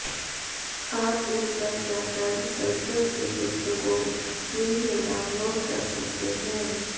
आप इनपर जाकर संस्कृत की पुस्तकों फ्री में डाउनलोड कर सकते है